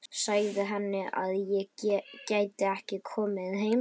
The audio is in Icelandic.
Sagði henni að ég gæti ekki komið heim strax.